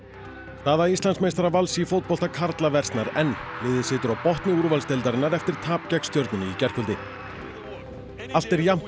staða Íslandsmeistara Vals í fótbolta karla versnar enn liðið situr á botni úrvalsdeildarinnar eftir tap gegn stjörnunni í gærkvöldi allt er jafnt í